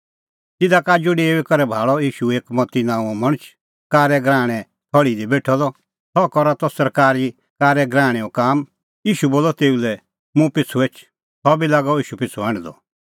तिधा का आजू डेऊई करै भाल़अ ईशू एक मत्ती नांओं मणछ कारै गराहणें थल़्ही दी बेठअ सह करा त सरकारी कारै गराहणैओ काम ईशू बोलअ तेऊ लै मुंह पिछ़ू एछ सह बी लागअ ईशू पिछ़ू हांढदअ